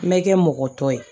Mɛ kɛ mɔgɔ tɔ ye